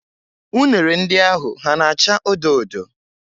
Unere ndị ahụ ha na-áchà odo odo?